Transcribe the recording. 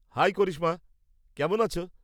High Karishma, কেমন আছো?